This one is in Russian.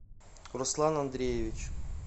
руслан андреевич